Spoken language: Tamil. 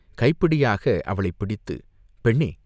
கைப்பிடியாக அவளைப் பிடித்து "பெண்ணே!